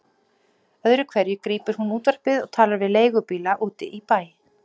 Öðru hverju grípur hún útvarpið og talar við leigubíla úti í bæ.